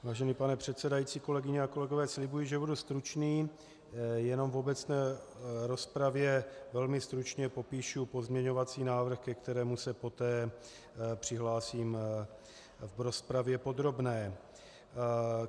Vážený pane předsedající, kolegyně a kolegové, slibuji, že budu stručný, jenom v obecné rozpravě velmi stručně popíšu pozměňovací návrh, ke kterému se poté přihlásím v rozpravě podrobné.